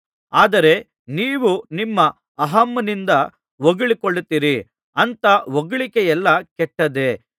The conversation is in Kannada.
ಆದರೆ ನೀವು ನಿಮ್ಮ ಅಹಂನಿಂದ ಹೊಗಳಿಕೊಳ್ಳುತ್ತೀರಿ ಅಂಥ ಹೊಗಳಿಕೆಯೆಲ್ಲಾ ಕೆಟ್ಟದ್ದೇ